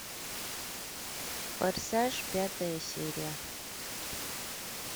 форсаж пятая серия